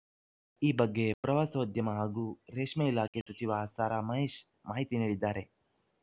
ಈ ಬಗ್ಗೆ ಪ್ರವಾಸೋದ್ಯಮ ಹಾಗೂ ರೇಷ್ಮೆ ಇಲಾಖೆ ಸಚಿವ ಸಾರಾ ಮಹೇಶ್‌ ಮಾಹಿತಿ ನೀಡಿದ್ದಾರೆ